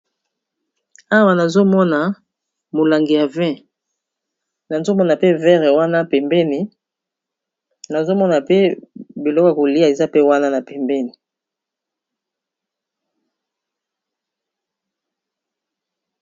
Awa nazomona molangi ya 20 nazomona pe verre wana pembeni nazomona pe biloko kolia eza pe wana na pembeni